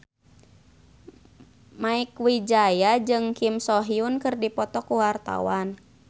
Mieke Wijaya jeung Kim So Hyun keur dipoto ku wartawan